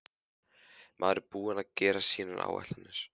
Maður er búinn að gera sínar áætlanir.